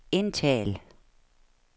indtal